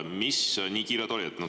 Mis nii kiiret oli?